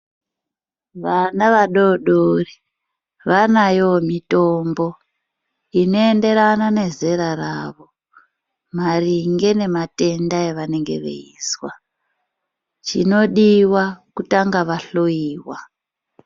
Vana vadodori vanayowo mitombo inoenderana nezera ravo. Maringe nematenda avanenge veizwa chinodiva kutanga vahloiwa.